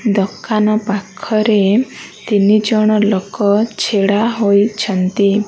ଦୋକାନ ପାଖରେ ତିନିଜଣ ଲୋକ ଛିଡ଼ା ହୋଇଛନ୍ତି।